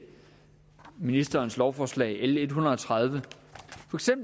ministerens lovforslag l en hundrede og tredive og